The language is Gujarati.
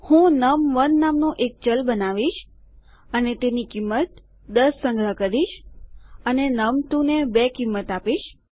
હું નમ1 નામનું એક ચલ બનાવીશ અને તેની કિંમત ૧૦ સંગ્રહ કરીશ અને નમ2 ને ૨ કિંમત આપીશ